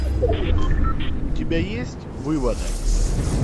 у тебя есть выводок